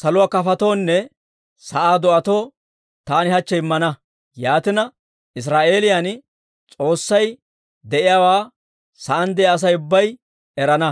saluwaa kafotuwawunne sa'aa do'atoo taani hachche immana; yaatina, Israa'eelan S'oossay de'iyaawaa sa'aan de'iyaa Asay ubbay erana.